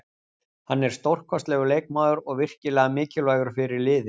Hann er stórkostlegur leikmaður og virkilega mikilvægur fyrir liðið.